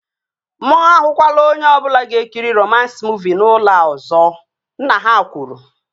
Mụ ahụkwala onye ọbụla ga-ekiri romans muuvi n'ụlọ a ọzọ! Nna ha kwuru